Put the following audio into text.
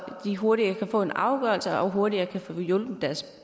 de hurtigere kan få en afgørelse og hurtigere kan få hjulpet deres